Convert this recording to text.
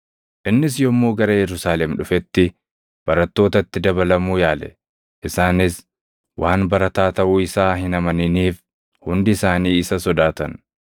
Innis yommuu gara Yerusaalem dhufetti barattootatti dabalamuu yaale; isaanis waan barataa taʼuu isaa hin amaniniif hundi isaanii isa sodaatan.